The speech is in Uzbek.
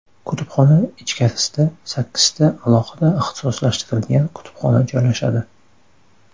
Kutubxona ichkarisida sakkizta alohida ixtisoslashtirilgan kutubxona joylashadi.